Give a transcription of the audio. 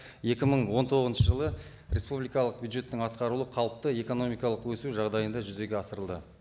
екі мың он тоғызыншы жылы республикалық бюджеттің атқарылуы қалыпты экономикалық өсу жағдайында жүзеге асырылды